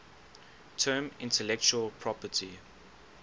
term intellectual property